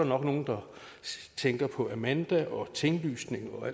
nok nogle der tænker på amanda og tinglysning og